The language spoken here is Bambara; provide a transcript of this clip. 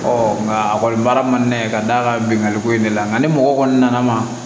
nka a kɔni baara man di ne ye ka d'a ka bɛnkanko in de la nka ni mɔgɔ kɔni nana ma